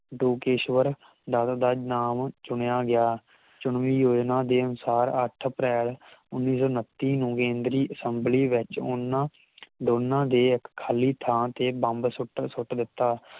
ਡੋਕੇਸ਼ਵਰ ਡਵ ਦਾ ਨਾਮ ਚੁਣਿਆ ਗਿਆ ਚੁਨਵੀ ਉਹਨਾਂ ਦੇ ਅਨੁਸਾਰ ਅੱਠ ਅਪ੍ਰੈਲ ਉੱਨੀ ਸੌ ਉਨੱਤੀ ਨੂੰ ਕੇਂਦਰੀ ਅਸੇੰਬਲੀ ਦੇ ਵਿਚ ਉਹਨਾਂ ਦੋਨਾਂ ਦੇ ਇਕ ਖਾਲੀ ਥਾਂ ਤੇ ਬੰਬ ਸੁੱਟ ਸੁੱਟ ਦਿੱਤਾ